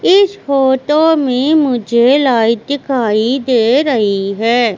इस फोटो में मुझे लाइट दिखाई दे रही है।